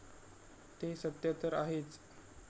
ते सत्य तर आहेच.